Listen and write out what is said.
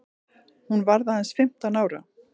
Hún varð aðeins fimmtán ára.